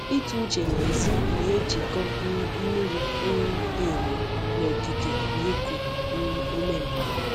Ịtụ uche n’èzí na-ejikọ m miri um emi na okike na iku um ume m.